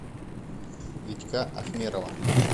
витька ахмерова